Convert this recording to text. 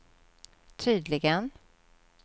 tydligen